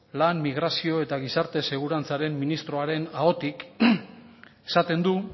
lan migrazio eta gizarte segurantzaren ministroaren ahotik esaten du